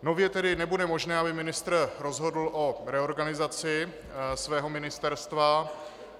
Nově tedy nebude možné, aby ministr rozhodl o reorganizaci svého ministerstva.